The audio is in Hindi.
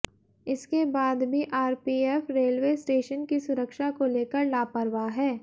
इसके बाद भी आरपीएफ रेलवे स्टेशन की सुरक्षा को लेकर लापरवाह है